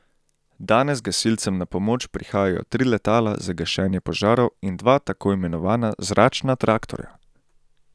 Danes gasilcem na pomoč prihajajo tri letala za gašenje požarov in dva tako imenovana zračna traktorja.